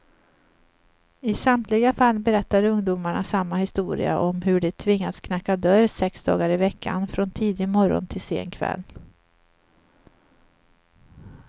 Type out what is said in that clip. I samtliga fall berättar ungdomarna samma historia om hur de tvingats knacka dörr sex dagar i veckan, från tidig morgon till sen kväll.